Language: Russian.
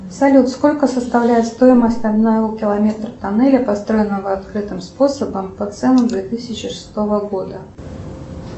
салют сколько составляет стоимость одного километра тоннеля построенного открытым способом по ценам две тысячи шестого года